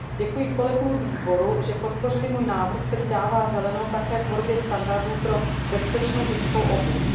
Děkuji kolegům z výboru, že podpořili můj návrh, který dává zelenou také tvorbě standardů pro bezpečnou dětskou obuv.